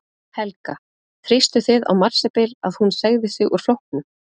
Helga: Þrýstuð þið á Marsibil að hún segði sig úr flokknum?